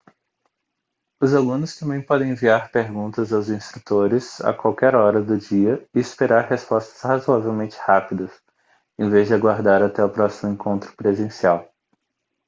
os alunos também podem enviar perguntas aos instrutores a qualquer hora do dia e esperar respostas razoavelmente rápidas em vez de aguardar até o próximo encontro presencial